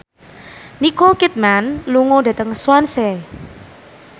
Nicole Kidman lunga dhateng Swansea